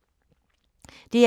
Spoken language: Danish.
DR1